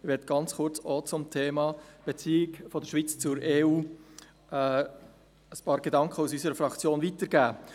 Ich möchte ebenfalls ganz kurz einige Gedanken aus unserer Fraktion zum Thema Beziehung der Schweiz zur EU weitergeben.